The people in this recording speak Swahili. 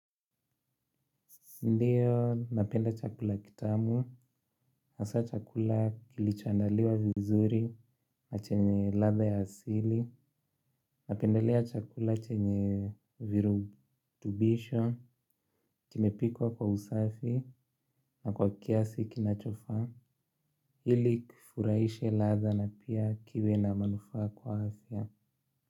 Ndio napenda chakula kitamu hasa chakula kilichoandaliwa vizuri chenye ladha ya asili, napendelea chakula chenye virutubisho kimepikwa kwa usafi na kwa kiasi kinachofaa, ili kifurahishe latha na pia kiwe na manufaa kwa afya.